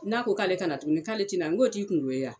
N'a ko k'ale ka na tugun k'ale ti na n koo t'i kungo ye a.